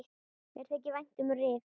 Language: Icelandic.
Mér þykir vænt um Rif.